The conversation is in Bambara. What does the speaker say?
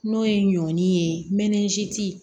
N'o ye ɲɔn ye